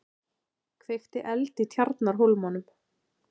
Kveikti eld í Tjarnarhólmanum